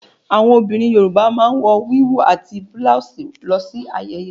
Àwọn obìnrin yorùbá máa n wò wíwú ati bulose lọ si ayẹyẹ.